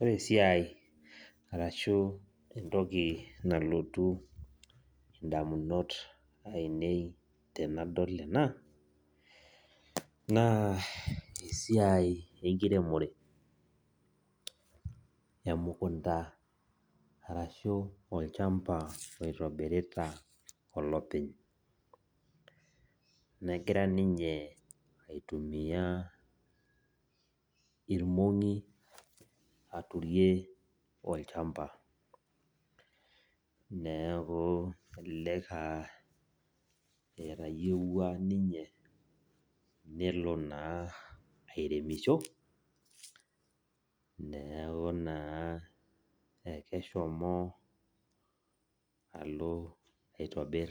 Ore esiai arashu entoki nalotu ndamunot tanadol ena na esiai enkiremore emukunda arashu olchamba oitobirita olopeny negira ninye aitumia irmongi aturie olchamba neaku elelek etayiewua ninye nelo aturisho neaku naa akishomo alo aitobir